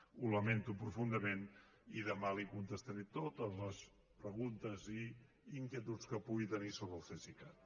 ho lamento profundament i demà li contestaré totes les preguntes i inquietuds que pugui tenir sobre el cesicat